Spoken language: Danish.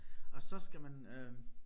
Og så skal man øh